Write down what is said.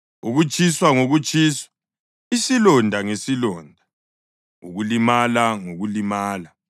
Ukutshiswa ngokutshiswa, isilonda ngesilonda, ukulimala ngokulimala.